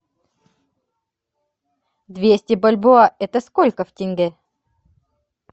двести бальбоа это сколько в тенге